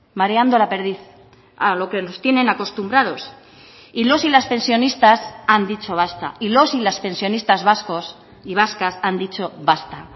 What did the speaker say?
mareando la perdiz a lo que nos tienen acostumbrados y los y las pensionistas han dicho basta y los y las pensionistas vascos y vascas han dicho basta